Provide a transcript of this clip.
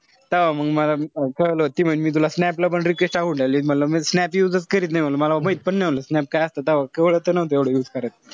तव्हा मंग मला कळलं ती म्हणे मी तुला snap ला पण request टाकून राहिली. म्हंटल मी snap use च करीत नाई. म्हणलं मला माहित पण नाई म्हणलं snap काय असत. तव्हा काई जास्त एवढं use नव्हते करत.